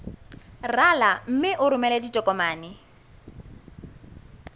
rala mme o romele ditokomene